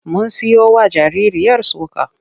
Mun siyowa jaririyar soka.